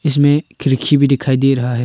इसमें खिड़की भी दिखाई दे रहा है।